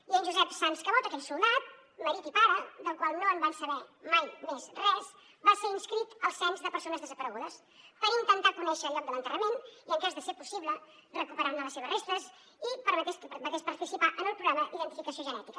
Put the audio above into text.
i en josep sans cabot aquell soldat marit i pare del qual no van saber mai més res va ser inscrit al cens de persones desaparegudes per intentar conèixer el lloc de l’enterrament i en cas de ser possible recuperar ne les seves restes i que permetés participar en el programa d’identificació genètica